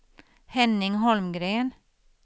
Henning Holmgren